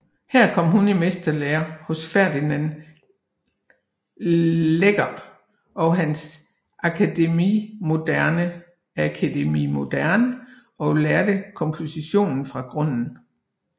Her kom hun i mesterlære hos Fernand Léger på hans Académie Moderne og lærte komposition fra grunden